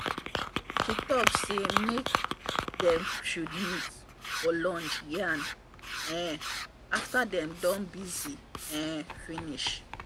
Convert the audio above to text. she talk say make dem should meet for lunch yarn um after dem don busy um finish.